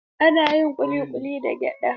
Ana yin ƙuli ƙuli daga gyada.